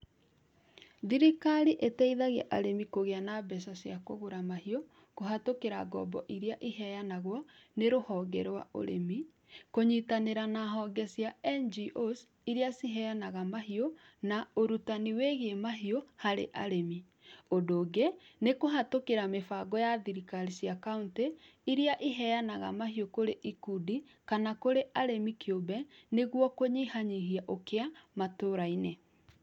Thirikari ĩteithagia arĩmi kũgĩa mbeca cia kũgũra mahiũ kũhatũkĩra ngombo iria iheanagwo nĩ rũhonge rwa ũrĩmi kũnyitanĩra na honge cia NGOs iria ciheanaga mahiũ na ũrutani wĩgiĩ mahiũ harĩ arĩmi. ũndũngĩ nĩ kũhetũkĩra mĩbango ya thirikari cia county iria iheanaga mahiũ kũrĩ ikundi kana kũrĩ arĩmi kĩũmbe nĩguo kũnyihanyihia ũkĩa matũra-inĩ.